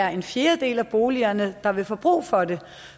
er en fjerdedel af boligerne der vil få brug for det